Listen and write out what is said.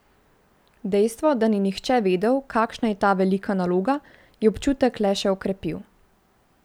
Dejstvo, da ni nihče vedel, kakšna je ta velika naloga, je občutek le še okrepil.